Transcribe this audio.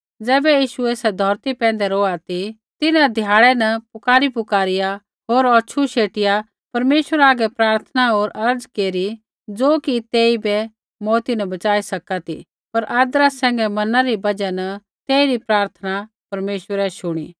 ज़ैबै यीशु ऐसा धौरती पैंधै रौहा ती तिन्हां ध्याड़ै न पुकारीपुकारिया होर औछू शेटिआ परमेश्वरा हागै प्रार्थना होर अर्ज़ केरी ज़ो कि तेइबै मौऊत न बच़ाई सका ती पर आदरा सैंघै मनणै री बजहा न तेइरी प्रार्थना परमेश्वरै शुणी